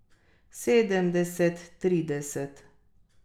Sedemdeset trideset.